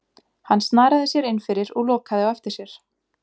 Hann snaraði sér innfyrir og lokaði á eftir sér.